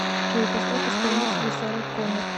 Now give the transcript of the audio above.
джой поставь исполнителя сара коннор